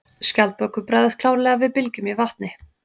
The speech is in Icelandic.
Skjaldbökur bregðast klárlega við bylgjum í vatni.